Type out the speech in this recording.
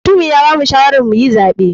Mutumi ya bamu shawarar muyi zaɓe.